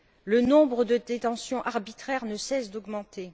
Le nombre de détentions arbitraires ne cesse d'augmenter.